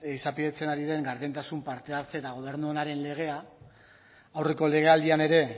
izapidetzen ari den gardentasun parte hartze eta gobernu onaren legea aurreko legealdian ere